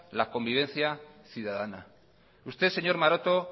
la convivencia ciudadana usted señor maroto